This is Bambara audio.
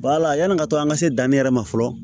yani ka to an ka se danni yɛrɛ ma fɔlɔ